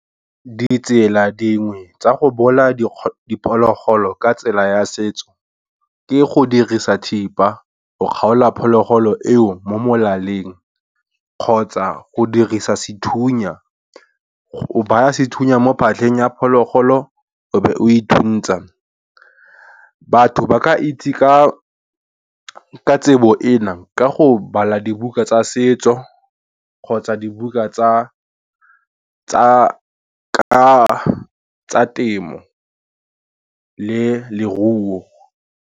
Ditsela dingwe tsa go bolaya diphologolo ka tsela ya setso, ke go dirisa thipa go kgaola phologolo eo mo molaleng, kgotsa go dirisa sethunya, o baya sethunya mo phatleng ya phologolo, o be o ithuntsa. Batho ba ka itse ka tsebo ena ka go bala dibuka tsa setso kgotsa dibuka ka tsa temo le leruo.